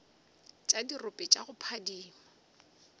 tša dirope tša go phadima